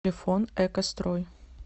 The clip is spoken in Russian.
телефон экострой